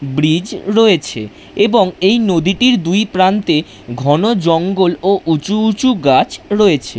Bridge রয়েছে এবং এই নদীটির দুই প্রান্তে ঘন জঙ্গল ও উঁচু উঁচু গাছ রয়েছে।